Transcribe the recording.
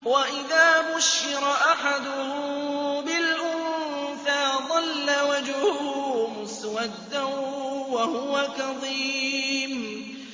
وَإِذَا بُشِّرَ أَحَدُهُم بِالْأُنثَىٰ ظَلَّ وَجْهُهُ مُسْوَدًّا وَهُوَ كَظِيمٌ